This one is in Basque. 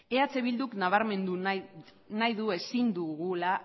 eh bilduk nabarmendu nahi du ezin dugula